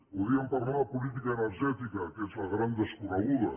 podríem parlar de política energètica que és la gran desconeguda